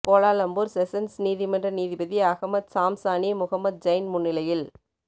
Kuala Lumpur sessions நீதிமன்ற நீதிபதி Ahmad Zamzani Mohamad Zain முன்னிலையில்